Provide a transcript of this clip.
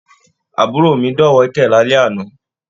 Àbúrò mí dọ̀wẹ̀kẹ̀ l'alẹ àna.